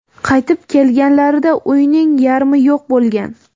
Qaytib kelganlarida uyning yarmi yo‘q bo‘lgan.